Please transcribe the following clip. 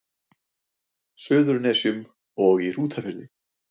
Suðurnesjum og í Hrútafirði.